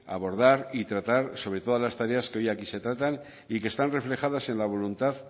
abordar y tratar sobre todas las tareas que hoy aquí se tratan y que están reflejadas en la voluntad